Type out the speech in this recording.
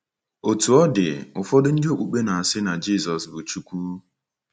Otú ọ dị, ụfọdụ ndị okpukpe na-asị na Jizọs bụ Chukwu..